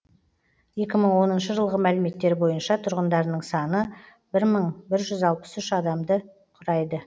екі мың оныншы жылғы мәліметтер бойынша тұрғындарының саны бір мың бір жүз алпыс үш адамды құрайды